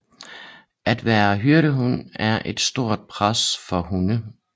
At være hyrdehund er et stort pres for hunde